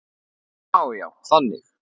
Já, já, þannig.